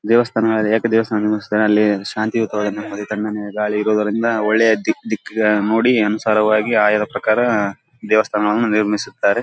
ದೇವಸ್ಥಾನಗಳಲ್ಲಿ ಯಾಕೋ ಶಾಂತಿಯುತ ನೆಮ್ಮದಿ ತಣ್ಣನೆ ಗಾಳಿ ಇರುವುದರಿಂದ ಒಳ್ಳೆಯ ದಿಕ್ಕ್ ದಿಕ್ಕ್ ಗಳನ್ನೂ ನೋಡಿ ಅನುಸಾರವಾಗಿ ಆಯಾದ ಪ್ರಕಾರ ದೇವಸ್ಥಾನಗಳನ್ನೂ ನಿರ್ಮಿಸುತ್ತಾರೆ.